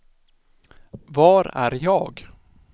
var är jag